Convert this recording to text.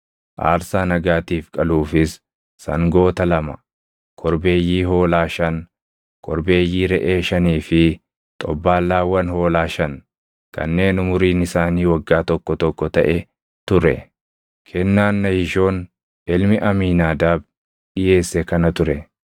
aarsaa nagaatiif qaluufis sangoota lama, korbeeyyii hoolaa shan, korbeeyyii reʼee shanii fi xobbaallaawwan hoolaa shan kanneen umuriin isaanii waggaa tokko tokko taʼe ture. Kennaan Nahishoon ilmi Amiinaadaab dhiʼeesse kana ture.